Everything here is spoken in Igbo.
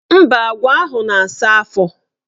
Mba, agwa ahụ na-asa afọ.